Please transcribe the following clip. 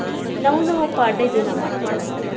ನಾವು ನಾವು ಪಾಡ್ಯಾ ಪಾಡ್ಯಾ ದಿನಾ ಮಾಡ್ತೇವಿ.